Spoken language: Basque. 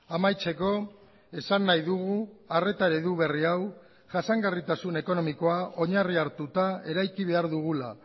amaitzeko esan nahi dugu arreta eredu berri hau jasangarritasun ekonomikoa oinarria hartuta eraiki behar dugula